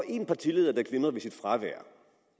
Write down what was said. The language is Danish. en partileder der glimrede ved sit fravær